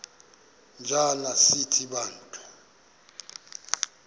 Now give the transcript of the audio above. njana sithi bantu